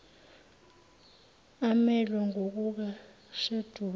emelwe ngokuka sheduli